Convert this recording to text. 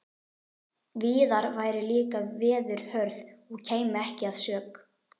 Víðar væru líka veður hörð og kæmi ekki að sök.